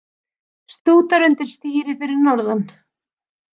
Stútar undir stýri fyrir norðan